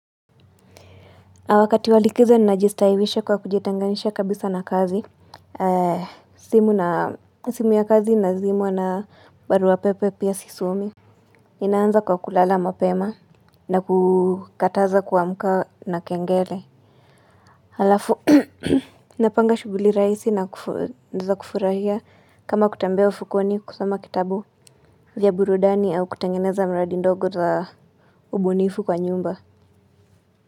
Na wakati wa likizo ninajistahiwisha kwa kujitenganisha kabisa na kazi, simu ya kazi inazimwa na baruapepe pia sisomi. Ninaanza kwa kulala mapema na kukataza kuamka na kengele. Alafu, napanga shughuli rahisi za kufurahia kama kutembea ufukweni kusoma kitabu vya burudani au kutengeneza mradi ndogo za ubunifu kwa nyumba.